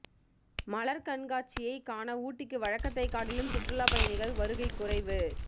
மலர்கண்காட்சியை காண ஊட்டிக்கு வழக்கத்தை காட்டிலும் சுற்றுலா பயணிகள் வருகை குறைவு